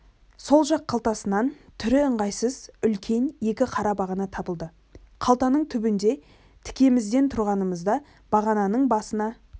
сол жақ қалтасынан түрі ыңғайсыз үлкен екі қара бағана табылды қалтаның түбінде тікемізден тұрғанымызда бағананың басына